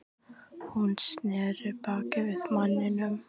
Hún sneri baki við manninum.